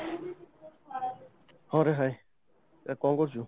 ହଁ ରେ hye ଆଉ କ'ଣ କରୁଛୁ?